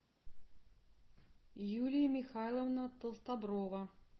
юлия михайловна толстоброва